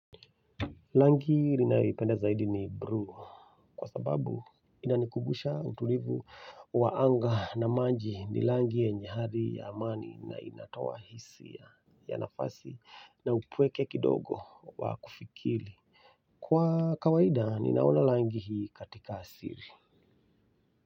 Rangi ninayoipenda zaidi ni blue kwa sababu inanikubusha utulivu wa anga na maji ni rangi yenye hali ya amani na inatoa hisia ya nafasi na upweke kidogo wa kufikiri. Kwa kawaida ninaona rangi hii katika siri.